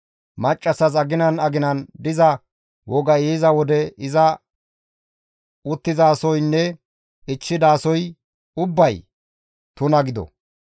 Maccassas aginan aginan diza wogay yiza wode iza uttizasoynne ichchidasoy ubbay tuna gido.